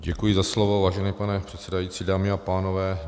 Děkuji za slovo, vážený pane předsedající, dámy a pánové.